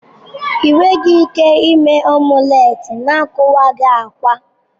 Ị nweghị ike ime omulet na-akuwaghi akwa.